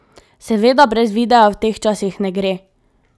Seveda brez videa v teh časih ne gre.